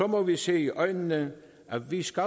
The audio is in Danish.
må vi se i øjnene at vi skal